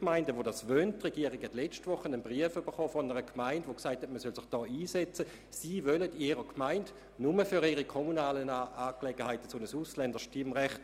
Die Regierung hat gerade letzte Woche einen Brief einer Gemeinde erhalten, die darum gebeten hat, man möge sich doch dafür einsetzen, sie wünschten in ihrer Gemeinde ein solches kommunales Ausländerstimmrecht.